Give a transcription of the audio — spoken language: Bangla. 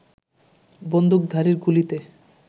বন্দুকধারীর গুলিতে